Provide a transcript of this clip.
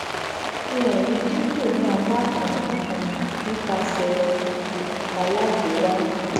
ifihan yii dinku ni apa kan nikan nipasẹ um alagbera